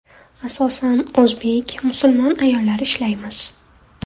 Asosan o‘zbek, musulmon ayollar ishlaymiz.